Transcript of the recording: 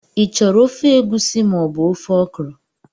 Ị chọrọ ofe egusi ma ọ bụ ofe okra?.